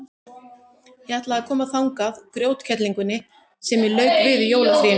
Ég ætla að koma þangað grjótkerlingunni sem ég lauk við í jólafríinu.